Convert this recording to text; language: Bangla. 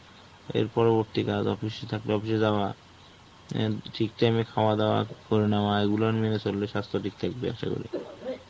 এর পরবর্তী কাজ office থাকলে Office যাওয়া. অ্যাঁ ঠিক time এ খাওয়া দাওয়া করে নেওয়া, এগুলো মেনে চললে স্বাস্থ্য ঠিক থাকবে আশা করি.